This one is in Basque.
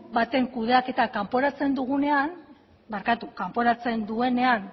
baten kudeaketa kanporatzen duenean